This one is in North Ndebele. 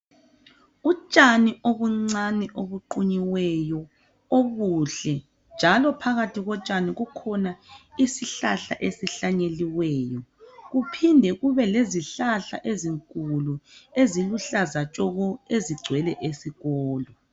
Utshani obuncani obuqunyiweyo obuhle, njalo phakathi botshani kukhona isihlahla esihlanyeliweyo. Kuphinde kube lezihlahla ezinkulu, eziluhlaza tshoko ezigcwele esikolo.